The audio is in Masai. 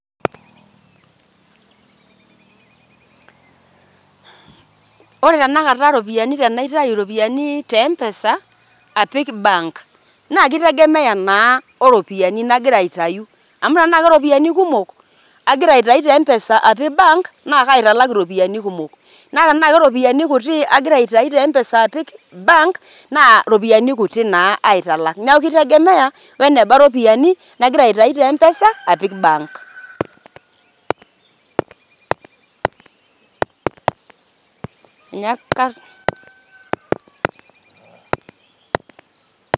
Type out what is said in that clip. Ore tenakata ropiani tenaitayu ropiani te mpesa apik bank naake itegemea naa o ropiani nagira aitayu amu tenaake ropiani kumok agira aitayu te mpesa apik bank, naake aitalak ropiani kumok naa tenaake ropiani kutik agira aitayu te mpesa apik bank, naa ropiani kutik naa aitalak. Neeku kitegemea weneba ropiani nagira aitayu te mpesa apik bank.